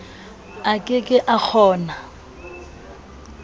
a ke ke a kgona